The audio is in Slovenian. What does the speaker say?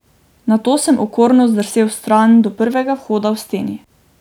Nato sem okorno zdrsel vstran do prvega vhoda v steni.